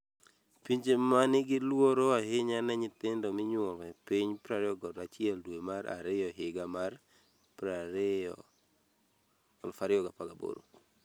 Pinje ma nigi luoro ahinya ne nyithindo minyuolo e piny 21 dwe mar ariyo higa mar 2018